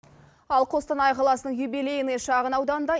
ал қостанай қаласының юбилейный шағын ауданында